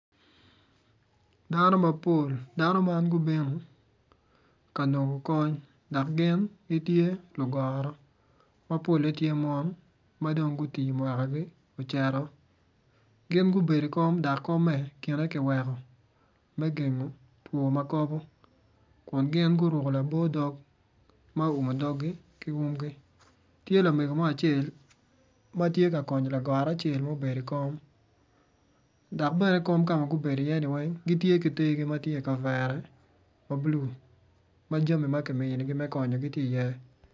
Dano mapol dano man gubino kanongo kony dok gin gitye lugoro ma gitye mono ma mwakagiocito gin gubedo i kom dok komme kine kiweko me gengo two makobo kun gin guruko labo dog